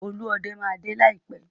Olúọdẹ máa dé láìpẹ́.